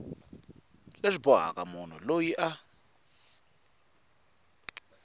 leswi bohaka munhu loyi a